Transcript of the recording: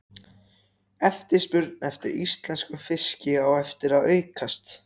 Eftirspurn eftir íslenskum fiski á eftir að aukast.